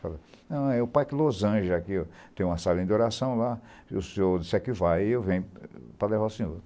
Falei, não, é o Parque Los Angeles aqui, tem uma sala de oração lá, se o senhor disser que vai, eu venho para levar o senhor.